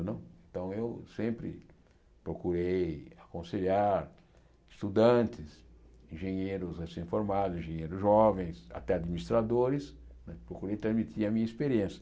Não então, eu sempre procurei aconselhar estudantes, engenheiros recém-formados, engenheiros jovens, até administradores, procurei transmitir a minha experiência.